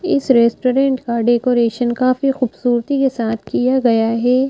इस रेस्टोरेंट का डेकोरेशन काफी खूबसूरती के साथ किया गया है ।